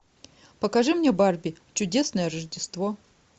покажи мне барби чудесное рождество